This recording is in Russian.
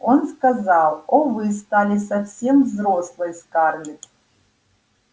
он сказал о вы стали совсем взрослой скарлетт